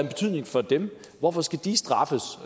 betydning for dem hvorfor skal de straffes